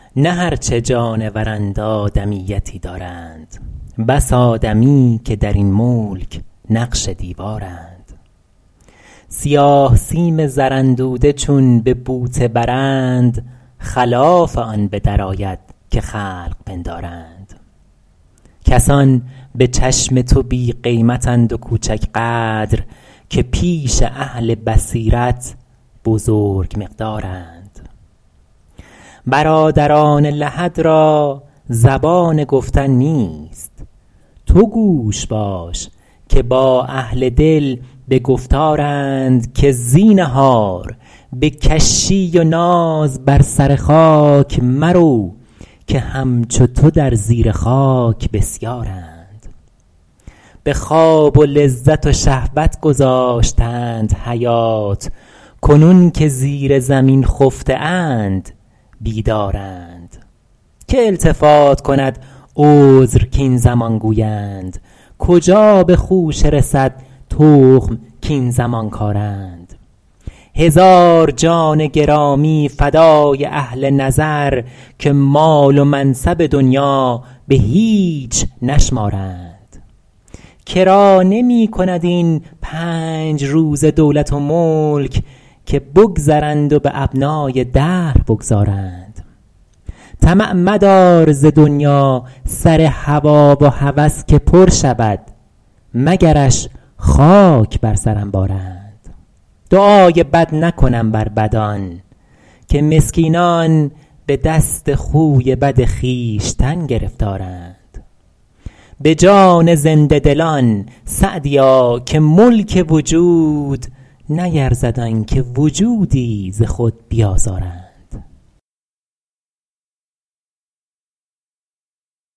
نه هرچه جانورند آدمیتی دارند بس آدمی که در این ملک نقش دیوارند سیاه سیم زراندوده چون به بوته برند خلاف آن به درآید که خلق پندارند کسان به چشم تو بی قیمت اند و کوچک قدر که پیش اهل بصیرت بزرگ مقدارند برادران لحد را زبان گفتن نیست تو گوش باش که با اهل دل به گفتارند که زینهار به کشی و ناز بر سر خاک مرو که همچو تو در زیر خاک بسیارند به خواب و لذت و شهوت گذاشتند حیات کنون که زیر زمین خفته اند بیدارند که التفات کند عذر کاین زمان گویند کجا به خوشه رسد تخم کاین زمان کارند هزار جان گرامی فدای اهل نظر که مال و منصب دنیا به هیچ نشمارند که را نمی کند این پنج روزه دولت و ملک که بگذرند و به ابنای دهر بگذارند طمع مدار ز دنیا سر هوا و هوس که پر شود مگرش خاک بر سر انبارند دعای بد نکنم بر بدان که مسکینان به دست خوی بد خویشتن گرفتارند به جان زنده دلان سعدیا که ملک وجود نیرزد آن که وجودی ز خود بیازارند